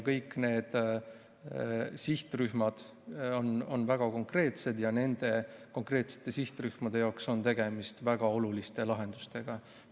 Kõik need sihtrühmad on väga konkreetsed ja nende jaoks on tegemist väga oluliste lahendustega.